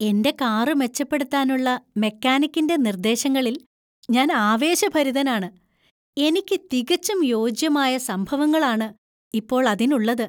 എൻ്റെ കാറു മെച്ചപ്പെടുത്താനുള്ള മെക്കാനിക്കിന്‍റെ നിർദ്ദേശങ്ങളിൽ ഞാൻ ആവേശഭരിതനാണ്. എനിക്ക് തികച്ചും യോജ്യമായ സംഭവങ്ങള്‍ ആണ് ഇപ്പോൾ അതിന് ഉള്ളത്.